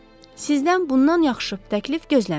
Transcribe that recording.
Sizdən bundan yaxşı təklif gözləmirdim.